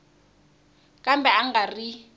kambe a a nga ri